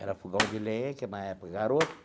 Era fogão de lenha, que na época, garoto,